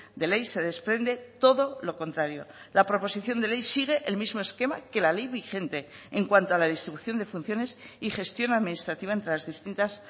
de ley se desprende todo lo contrario la proposición de ley sigue el mismo esquema que la ley vigente en cuanto a la distribución de funciones y gestión administrativa entre las distintas